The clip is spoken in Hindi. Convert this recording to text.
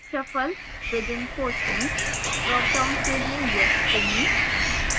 shuffle within questions dropdown के लिए yes चुनें